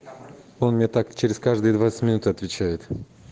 он мне так через каждые двадцать минут отвечает